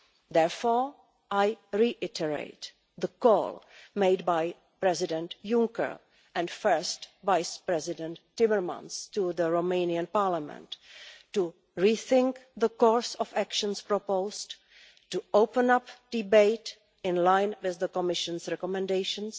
Therefore, I reiterate the call made by President Juncker and First Vice-President Timmermans to the Romanian Parliament to rethink the course of actions proposed, to open up debate in line with the Commission's recommendations,